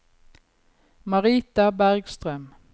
Marita Bergstrøm